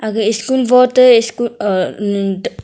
aga school vot te school ah um teh.